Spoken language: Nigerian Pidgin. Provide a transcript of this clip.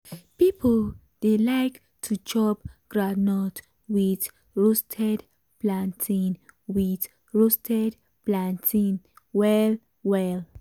people dey like to chop groundnut with roasted plantain with roasted plantain well well.